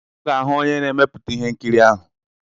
Ọ ga-ahụ onye na-emepụta ihe nkiri ahụ.